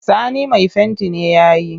Sani mai fenti ne ya yi